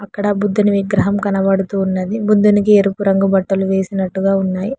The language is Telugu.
అక్కడ బుద్ధిని విగ్రహం కనబడుతున్నది బుద్ధునికి ఎరుపు రంగు బట్టలు వేసినట్టుగా ఉన్నాయి.